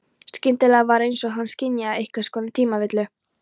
Skyndilega var einsog hann skynjaði einhvers konar tímavillu.